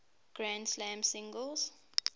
grand slam singles